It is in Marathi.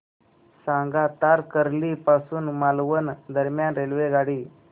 सांगा तारकर्ली पासून मालवण दरम्यान रेल्वेगाडी